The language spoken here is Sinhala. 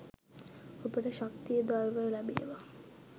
ඔබට ශක්තිය ධෛර්යය ලැබේවා.